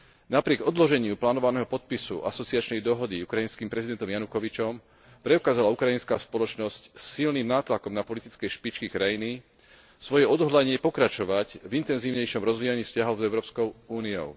Napriek odloženiu plánovaného podpisu asociačnej dohody ukrajinským prezidentom Janukovyčom, preukázala ukrajinská spoločnosť silným nátlakom na politické špičky krajiny svoje odhodlanie pokračovať v intenzívnejšom rozvíjaní vzťahov s Európskou úniou.